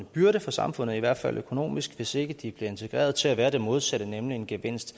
byrde for samfundet i hvert fald økonomisk hvis ikke de bliver integreret til at være det modsatte nemlig en gevinst